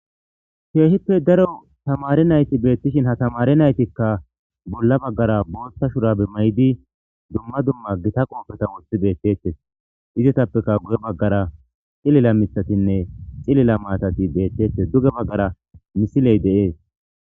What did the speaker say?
Keehippe daro tamare nayti beetishin ha tamare naytikka bolla baggara booththa shurabe mayidi dumma dumma gita qoopeta woththi deettettes izetappeka guye baggara xilila mitatinne xilila maatati deettettes duge baggara misiley deees